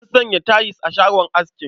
An sanya tayil a shagon askin.